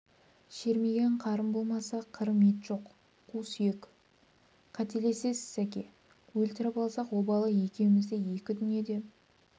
шермиген қарын болмаса қырым ет жоқ қу сүйек қателесесіз сәке өлтіріп алсақ обалы екеумізді екі дүниеде